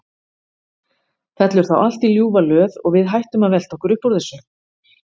Fellur þá allt í ljúfa löð og við hættum að velta okkur upp úr þessu?